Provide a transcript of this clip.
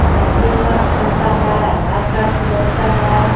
जाति निवास बनता है आधार कार्ड सुधरता है.